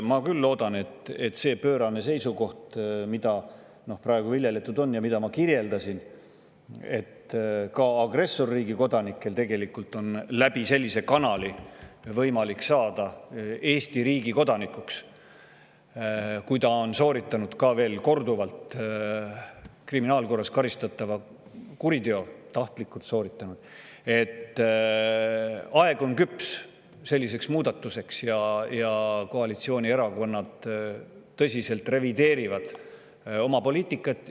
Ma küll loodan, et selle pöörase seisukoha muutmiseks, mida praegu on viljeletud ja mida ma kirjeldasin – et ka agressorriigi kodanikel on tegelikult sellise kanali kaudu võimalik saada Eesti riigi kodanikuks, kui ta on sooritanud tahtlikult, ja ka korduvalt, kriminaalkorras karistatava kuriteo –, on aeg küps ja koalitsioonierakonnad tõsiselt revideerivad oma poliitikat.